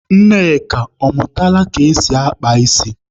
Nneka, ọ mụtala ka esi akpa ísí?